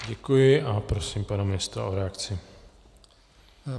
Děkuji a prosím pana ministra o reakci.